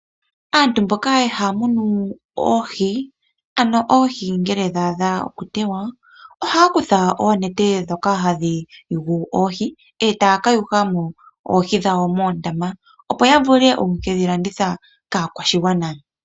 Aantu mboka haya munu oohi, ano oohi ngele dha adha okuteywa ohaya kutha oonete dhoka hadhi yugu oohi, e taya ka yugamo oohi dhawo moondama opo yavule okukedhi landitha kaakwashigwana.